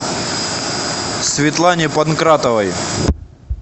светлане панкратовой